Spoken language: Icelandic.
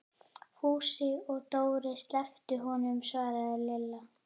Fúsi og Dóri slepptu honum svaraði Lilla.